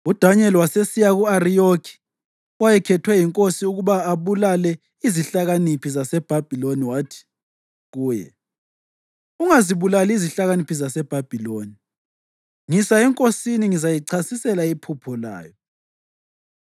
UDanyeli wasesiya ku-Ariyoki owayekhethwe yinkosi ukuba abulale izihlakaniphi zaseBhabhiloni, wathi kuye, “Ungazibulali izihlakaniphi zaseBhabhiloni. Ngisa enkosini, ngizayichasisela iphupho layo.”